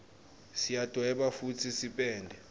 siyadweba futsi sipende